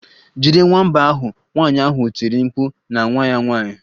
Jide nwamba ahụ!nwanyị ahụ tiri mkpu na nwa ya nwanyị.